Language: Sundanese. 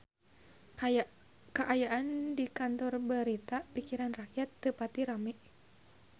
Kaayaan di Kantor Berita Pikiran Rakyat teu pati rame